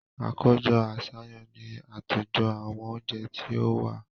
Àkójọ-àṣàyàn ni àtòjọ àwọn oúnjẹ tí ó wà.